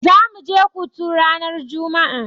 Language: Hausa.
Zamu je kotu ranar juma'a.